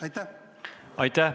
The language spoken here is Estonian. Aitäh!